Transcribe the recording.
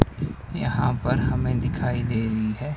यहां पर हमें दिखाई दे रही है।